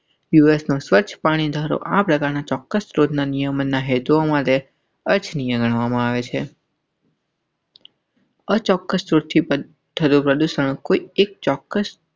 યુએસનું સ્વચ્છ પાણી ધારો આપણા ચોક્કસ શોધના નિયમના હૈ. જો હમારે ગણવામાં આવે છે. ઔર ચોક્કસ છે. ચોકસ.